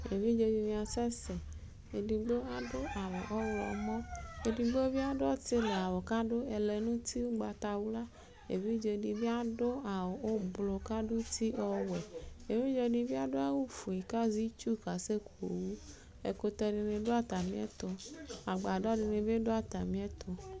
evidze di ni asɛ sɛ edigbo ado awu ɔwlɔmɔ edigbo bi ado ɔtili awu k'ado ɛlɛ n'uti ugbata wla evidze di bi ado awu ublɔ k'aso uti ɔwɛ evidze di bi ado awu fue k'azɛ itsu kesɛ ku owu ɛkutɛ di ni do atamiɛto agbadɔ di ni bi do atamiɛto